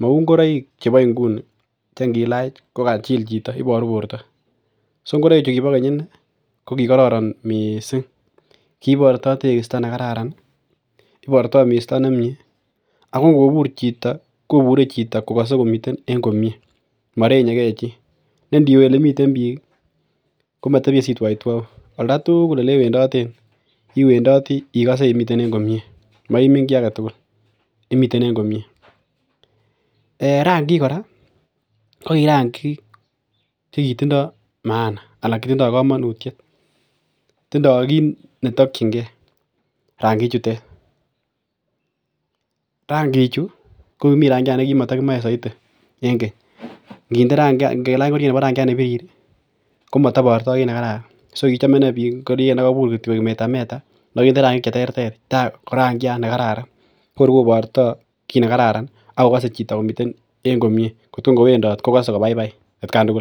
Mau ngoroik chebo inguni chengilach kokachil Chito akobaru borta so ingoroik chuton kiba Keny mising kibarto tekisto nekararan iborto Misti nemie akongobur Chito koburen Chito kokase komiten komie marenye gei chi nendiwe olemiten bik komatebie bik komatebie sitwautwau en oldo tugul en olewendoten iwendoti ikose imiten en komie maiming gii agetugul nemiten en komie en rangik koraa kokirangik chikitindo maana anan kokamanut akotindoi git netakingei rangik chutet ,rangik Chu kokimii rangiat bekimatakimae saiti en keny ngelach ingoriet Nebo rangiat nebitirr komatabarto kit nekararan so kichome inei bik ingoriet nekabur koik meta meta nekakinde rangik cheterter korangiat nekararan korkobarta kit nekararan akokase Chito komiten komie kotun kowendit kokase kobaibai